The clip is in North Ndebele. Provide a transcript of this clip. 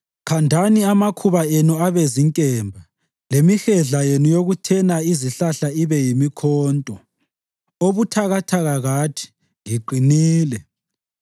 Khandani amakhuba enu abe zinkemba lemihedla yenu yokuthena izihlahla ibe yimikhonto. Obuthakathaka kathi, “Ngiqinile!”